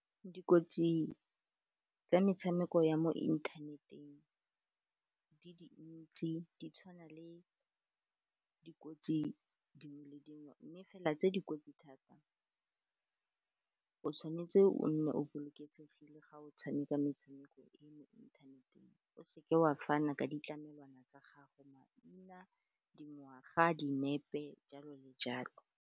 Dikotsi tsa metshameko ya mo inthaneteng di dintsi di tshwana le dikotsi dingwe le dingwe, mme fela tse dikotsi thata o tshwanetse o nne o bolokesegile ga o tshameka metshameko e mo inthaneteng, o seke wa fana ka ditlamelwana tsa gago, maina, dingwaga, dinepe jalo le jalo.